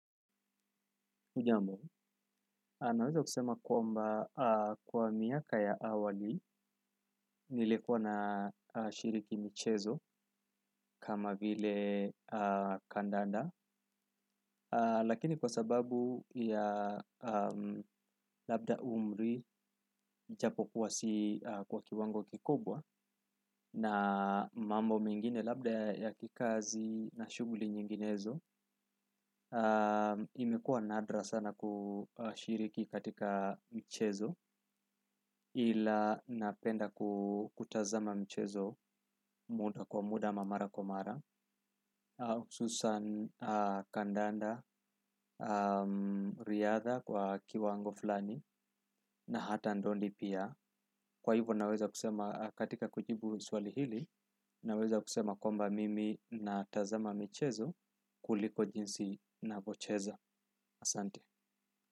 Hujambo, naweza kusema kwamba kwa miaka ya awali nilikuwa nashiriki michezo kama vile kandanda lakini kwa sababu ya labda umri japo kuwa si kwa kiwango kikubwa na mambo mengine labda ya kikazi na shughuli nyinginezo imekuwa nadra sana kushiriki katika mchezo ila napenda kutazama mchezo muda kwa muda ama mara kwa mara hususan kandanda, riadha kwa kiwango fulani na hata ndondi pia kwa hivyo naweza kusema katika kujibu swali hili naweza kusema kwamba mimi natazama michezo kuliko jinsi ninavyocheza.